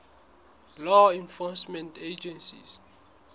law enforcement agencies